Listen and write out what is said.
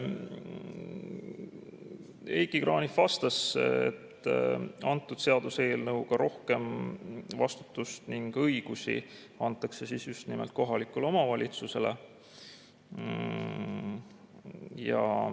Heiki Kranich vastas, et selle seaduseelnõu kohaselt antakse rohkem vastutust ning õigusi just nimelt kohalikule omavalitsusele.